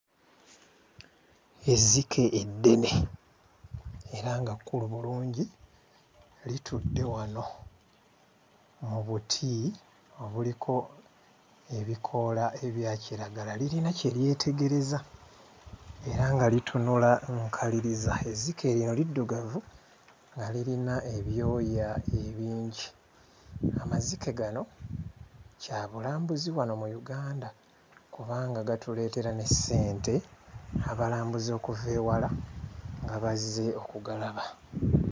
Ezzike eddene era nga kkulu bulungi litudde wano mu buti obuliko ebikoola ebya kiragala lirina kye lyetegereza era nga litunula nkaliriza. Ezzike lino liddugavu nga lirina ebyoya ebingi. Amazike gano kyabulambuzi wano mu Uganda kubanga gatuleetera ne ssente abalambuzi okuva ewala nga bazze okugalaba.